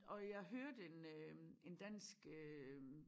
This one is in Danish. Og jeg hørte en øh en dansk øh